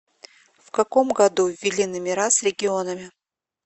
в каком году ввели номера с регионами